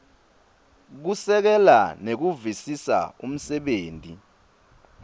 kusekela nekuvisisa umsebenti